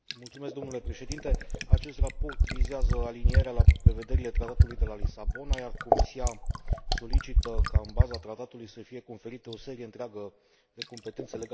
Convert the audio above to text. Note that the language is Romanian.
Acest raport vizează alinierea la prevederile Tratatului de la Lisabona, iar Comisia solicită ca, în baza tratatului, să fie conferite o serie întreagă de competențe legate de pescuitul ilegal.